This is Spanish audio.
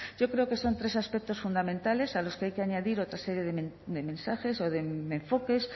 yo creo que son tres aspectos fundamentales a los que hay que añadir otras serie de mensajes o de enfoques